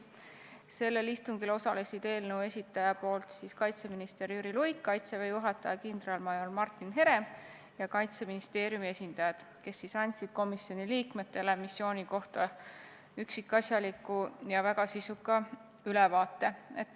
Sellel istungil osalesid eelnõu esitajate esindaja kaitseminister Jüri Luik, Kaitseväe juhataja kindralmajor Martin Herem ja Kaitseministeeriumi esindajad, kes andsid komisjoni liikmetele missiooni kohta üksikasjaliku ja väga sisuka ülevaate.